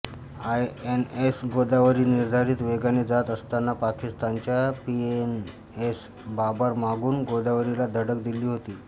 INS Godavari निर्धारित वेगाने जात असतांना पाकिस्तानच्या पीएनएस बाबर मागून गोदावरीला धडक दिली होती